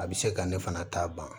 A bɛ se ka ne fana ta ban